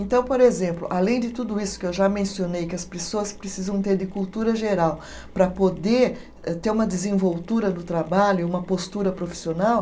Então, por exemplo, além de tudo isso que eu já mencionei, que as pessoas precisam ter de cultura geral para poder ter uma desenvoltura no trabalho, uma postura profissional.